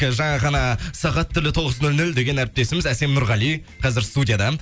жаңа ғана сағат тілі тоғыз нөл нөл деген әріптесіміз әсем нұрғали қазір студияда